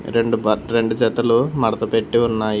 రెండు బట్ రెండు జతలు మడత పెట్టి ఉన్నాయి.